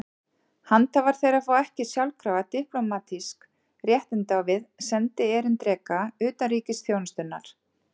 Handhafar þeirra fá ekki sjálfkrafa diplómatísk réttindi á við sendierindreka utanríkisþjónustunnar.